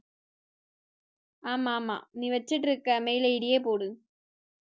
ஆமா, ஆமா. நீ வச்சிட்டு இருக்க mail id யே போடு